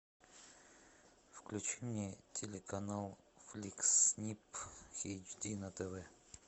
включи мне телеканал фликс нип эйч ди на тв